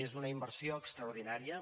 és una inversió extraordinària